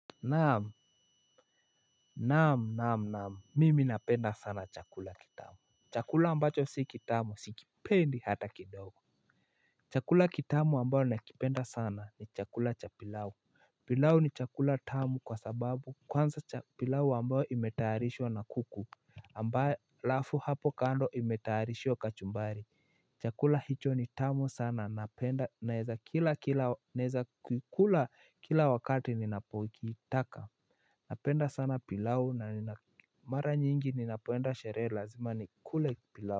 Naam naam naam naam mimi napenda sana chakula kitamu chakula ambacho si kitamu sikipendi hata kidogo. Chakula kitamu ambayo nakipenda sana ni chakula cha pilau. Pilau ni chakula tamu kwa sababu kwanza pilau ambayo imetaarishwa na kuku alafu hapo kando imetaarishwa kachumbari. Chakula hicho ni tamu sana napenda naweza kikula kila wakati ninapokitaka. Napenda sana pilau na nina mara nyingi ninapoenda sheree lazima nikule pilau.